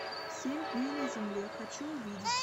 семь дней на земле хочу увидеть